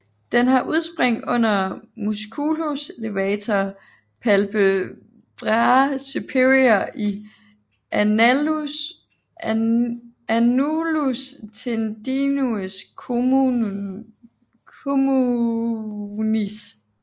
Den har udspring under musculus levator palpebrae superior i annulus tendineus communis